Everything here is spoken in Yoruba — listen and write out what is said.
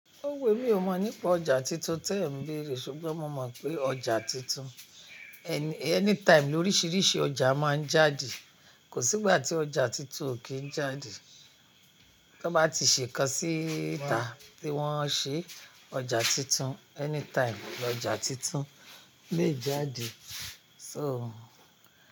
Ó wù emí o mọ nípa ọjà tuntun tẹ́ ń gbèrè, ṣùgbọ́n mo mọ̀ pé ọjà tuntun anytime lóríṣiríṣi ọjà máa ń jáde. Kò sígbà tí ọjà tuntun ò kí ń jáde. Tọ́n bá ti ṣe kan síta tí wọ́n ṣe ọjà tuntun, anytime lọjà tuntun lè jáde. So.